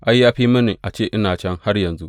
Ai, ya fi mini a ce ina can har yanzu!